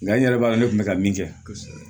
Nka n yɛrɛ b'a dɔn ne kun bɛ ka min kɛ kosɛbɛ